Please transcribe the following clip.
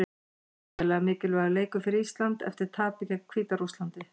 Gríðarlega mikilvægur leikur fyrir Ísland eftir tapið gegn Hvíta-Rússlandi.